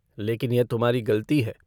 लेकिन यह तुम्हारी गलती है।